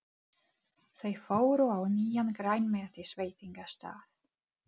Þau fóru á nýjan grænmetisveitingastað.